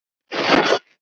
Hvað um þessa?